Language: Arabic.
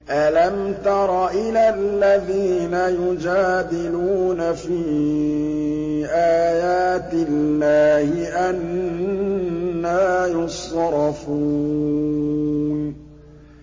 أَلَمْ تَرَ إِلَى الَّذِينَ يُجَادِلُونَ فِي آيَاتِ اللَّهِ أَنَّىٰ يُصْرَفُونَ